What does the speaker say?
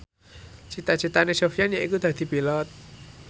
cita citane Sofyan yaiku dadi Pilot